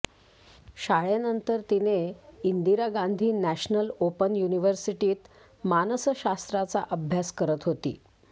शाळेनंतर तिने Indira Gandhi national open युनिवर्सिटीत मानसशास्त्राचा अभ्यास करत होती